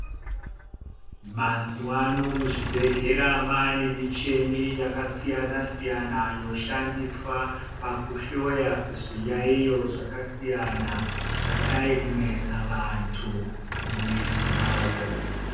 Mazuwa ano muzvibhedhlera maane michini inoshandiswa pakuhloya zviyaiyo zvakasiyana zvadayi kunesa vanhu mumizi mavo.